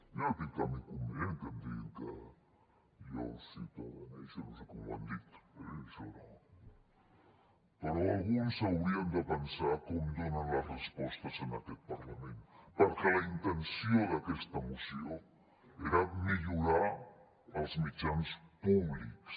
jo no tinc cap inconvenient que em diguin que jo ciutadanejo o no sé com ho han dit però alguns haurien de pensar com donen les respostes en aquest parlament perquè la intenció d’aquesta moció era millorar els mitjans públics